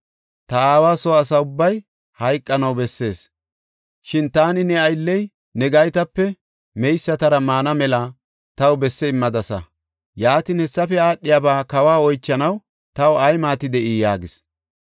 Ta aawa soo asa ubbay hayqanaw bessees, shin taani ne aylley ne gaytape meysatara maana mela taw besse immadasa. Yaatin, hessafe aadhiyaba kawa oychanaw taw ay maati de7ii?” yaagis.